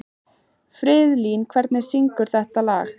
Friðlín, hver syngur þetta lag?